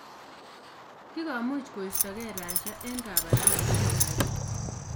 Kigomuch koistogee Russia eng kabarastaet ap bik